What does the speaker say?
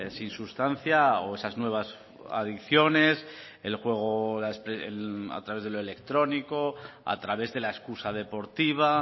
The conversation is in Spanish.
sin sustancia o esas nuevas adicciones el juego a través de lo electrónico a través de la excusa deportiva